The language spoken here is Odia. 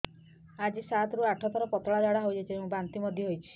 ଆଜି ସାତରୁ ଆଠ ଥର ପତଳା ଝାଡ଼ା ହୋଇଛି ଏବଂ ବାନ୍ତି ମଧ୍ୟ ହେଇଛି